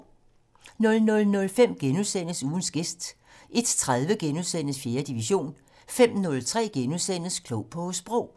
00:05: Ugens gæst * 01:30: 4. division * 05:03: Klog på Sprog *